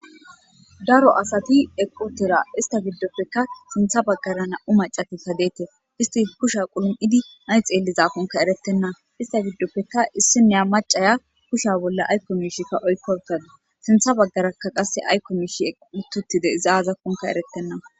daro asati eqqu utira ista giddoppeka sintha baggara na7u macatika deetes isti kusha qulum7idi sy xeellizakonka eretenna ista giddoppeka issinea macaya kusha bolla aykko miishikka oykkortadu sintha baggarakka qasse aykko miish uti utides iz azi gididakonka eretena